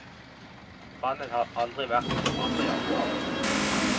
Bandet har aldri vært som andre jazzband.